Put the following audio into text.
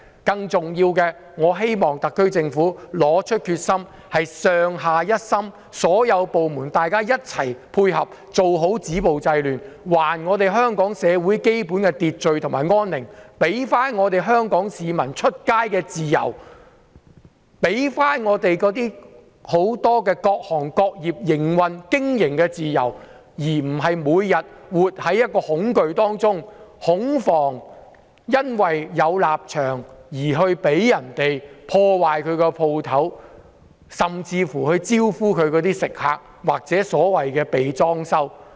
更重要的是，特區政府要拿出決心，上下一心，所有部門一起配合做好止暴制亂的工作，還香港社會基本的秩序和安寧、還香港市民外出的自由、還各行各業的營運和經營自由，使商戶不用每天活在恐懼當中，恐防因為立場不同而被人破壞店鋪，甚至"招呼"其食客或"被裝修"。